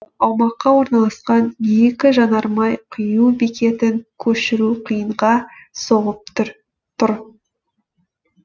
аумаққа орналасқан екі жанармай құю бекетін көшіру қиынға соғып тұр